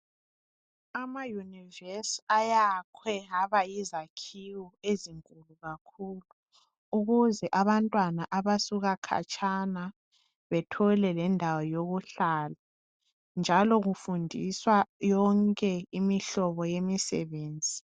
Ama univesi ayakhwe aba yizakhiwo ezinkulu kakhulu ukuze abantwana abasuka khatshana bethole lendawo yokuhlala njalo kufundiswa yonke imihlobo yemisebenzi